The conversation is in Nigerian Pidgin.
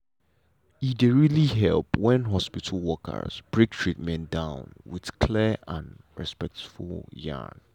e dey really help when hospital workers break treatment down with clear and respectful yarn.